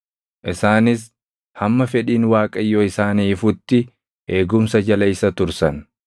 Isaanis hamma fedhiin Waaqayyoo isaanii ifutti eegumsa jala isa tursan.